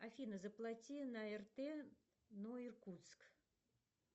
афина звплати на рт но иркутск